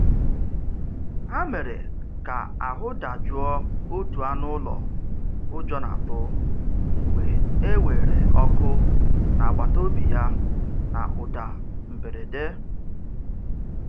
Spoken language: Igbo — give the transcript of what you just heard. Ha mere ka ahụ dajụọ otu anụ ụlọ ụjọ na-atụ mgbe e weere ọkụ n'agbataobi ya na ụda mberede.